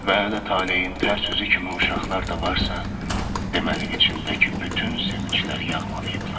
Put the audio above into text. Və hələ taleyin tərs üzü kimi uşaqlar da varsa, deməli içindəki bütün sevincləri yağmalayıblar.